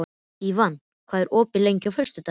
Ívan, hvað er opið lengi á föstudaginn?